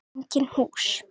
Engin hús.